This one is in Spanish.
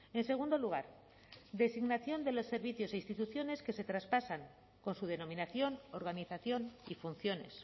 en segundo lugar designación de los servicios e instituciones que se traspasan con su denominación organización y funciones